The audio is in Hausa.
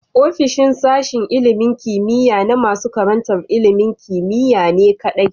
Ofishin sashen ilimin kimiya na nasu karantar ilimin kimiyane kadai